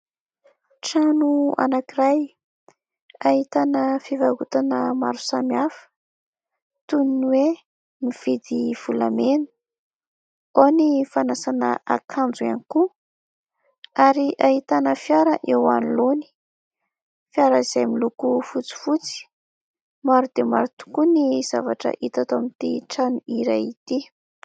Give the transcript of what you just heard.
Trano anankiray ahitana fivarotana maro samihafa toy ny hoe "Mividy volamena". Ao ny fanasana akanjo ihany koa ary ahitana fiara eo anoloany, fiara izay miloko fotsifotsy. Maro dia maro tokoa ny zavatra hita eto amin'ity trano iray ity.